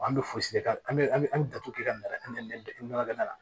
An bɛ fosi de k'an an bɛ an bɛ an bɛ datugu kɛ ka nɛgɛ da la